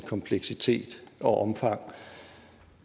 kompleksitet og omfang